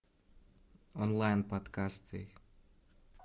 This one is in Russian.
онлайн подкасты